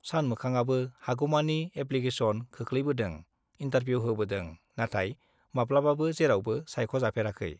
सानमोखांआबो हागौमानि एप्लिकेसन खोख्लैबोदों, इन्टारभिउ होबोदों, नाथाय माब्लाबाबो जेरावबो सायख'जाफेराखै।